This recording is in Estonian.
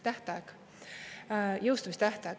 Tähtaeg, jõustumistähtaeg.